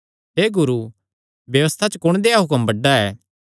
हे गुरू व्यबस्था च कुण देहया हुक्म बड्डा ऐ